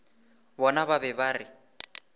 bona ba be ba re